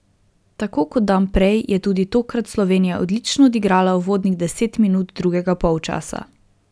Tako kot dan prej je tudi tokrat Slovenija odlično odigrala uvodnih deset minut drugega polčasa.